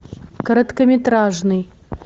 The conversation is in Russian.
короткометражный